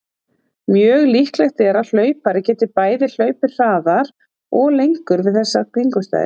Mjög líklegt er að hlaupari geti bæði hlaupið hraðar og lengur við þessar kringumstæður.